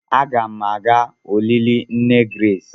Aga m aga olili nne Grace.